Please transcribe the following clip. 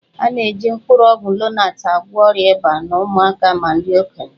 A na-eji mkpụrụ ọgwụ Lonat agwọ ọrịa ịba na ụmụaka ma ndị okenye